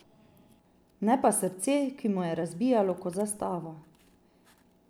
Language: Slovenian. Ne pa srce, ki mu je razbijalo kot za stavo.